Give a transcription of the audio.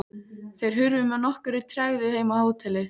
Þeir hurfu með nokkurri tregðu heim á hótelið.